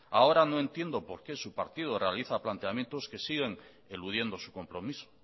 ahora no entiendo por qué su partido realiza planteamientos que siguen eludiendo su compromiso